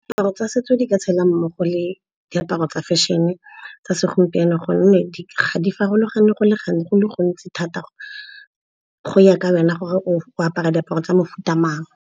Diaparo tsa setso di ka tshela mmogo le diaparo tsa fashion-e tsa segompieno gonne di farologane go le gontsi thata. Go ya ka wena gore o apara diaparo tsa mofuta mang.